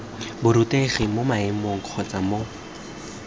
borutegi mo maemong kgotsa mo